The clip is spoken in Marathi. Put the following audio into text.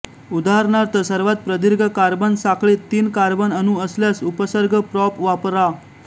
उदाहरणार्थ सर्वात प्रदीर्घ कार्बन साखळीत तीन कार्बन अणू असल्यास उपसर्ग प्रॉप वापरा